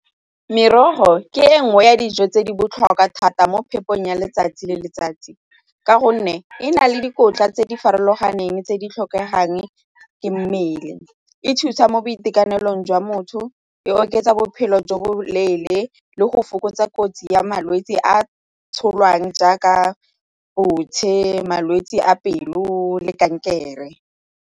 Merogo ke e nngwe ya dijo tse di botlhokwa thata mo phepong ya letsatsi le letsatsi ka gonne e na le dikotla tse di farologaneng tse di tlhokegang ke mmele, e thusa mo lekanelang jwa motho, e oketsa bophelo jwa boleele le go fokotsa kotsi ya malwetsi a tsholang jaaka malwetse a pelo le kankere.